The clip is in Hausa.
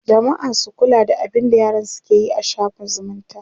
jamma'a su kula da abinda yaransu keyi a shaffin zumunta